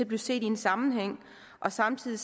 blive set i en sammenhæng og samtidig